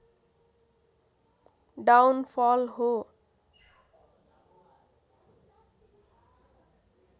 down फल हो